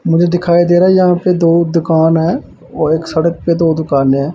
मुझे दिखाई दे रहा है यहां पे दो दुकान है और एक सड़क पे दो दुकानें हैं।